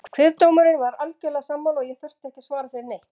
Kviðdómurinn var algjörlega sammála og ég þurfti ekki að svara fyrir neitt.